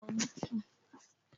Jeka shayar da furanni.